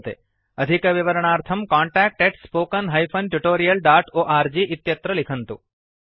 अधिकविवरणार्थं contactspoken tutorialorg इत्यत्र लिखन्तु